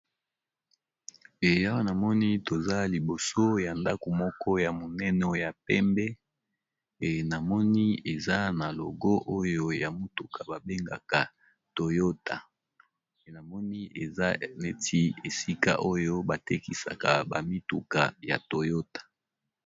Ewa namoni toza liboso ya ndako moko ya monene ya pembe eza na logo oyo ya motuka babengaka enamoni eza neti esika oyo batekisaka bamituka ya toyota.